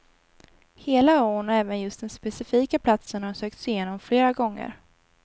Hela ån och även just den specifika platsen har sökts igenom flera gånger.